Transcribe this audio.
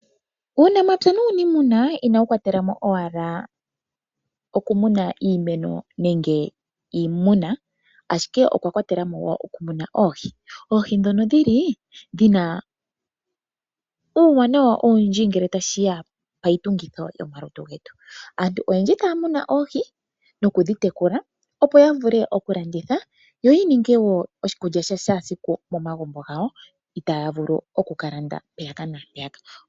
Uunamapya nuunimuna inawu kwatela mo owala oku muna iimeno nenge iimuna. Ashike okwa kwatela mo wo oku muna oohi. Oohi dhono dhili dhina uuwanawa owundji ngele tashiya payi tungitho yomalutu getu. Aantu oyendji taya muna oohi nokudhi tekula opo ya vule oku landitha yo yi ninge wo oshikulya sha shaasiku momagumbo gawo. Itaya vulu oku ka landa mpeyaka naampeya ka.